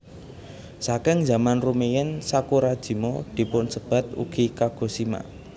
Saking zaman rumiyin Sakurajima dipunsebat ugi Kagoshima